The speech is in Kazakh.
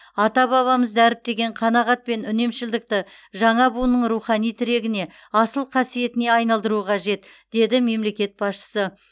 ата бабамыз дәріптеген қанағат пен үнемшілдікті жаңа буынның рухани тірегіне асыл қасиетіне айналдыру қажет деді мемлекет басшысы